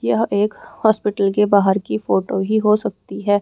यह एक हॉस्पिटल के बाहर की फोटो ही हो सकती है।